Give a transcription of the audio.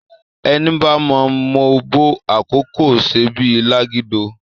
Èní bá má m'òbò àkókó sé bí lágidó,